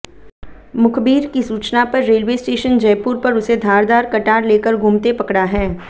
मुखबिर की सूचना पर रेलवे स्टेशन जयपुर पर उसे धारदार कटार लेकर घूमते पकड़ा है